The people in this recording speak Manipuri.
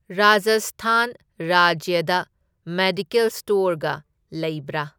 ꯔꯥꯖꯁꯊꯥꯟ ꯔꯥꯖ꯭ꯌꯗ ꯃꯦꯗꯤꯀꯦꯜ ꯁ꯭ꯇꯣꯔꯒ ꯂꯩꯕ꯭ꯔꯥ?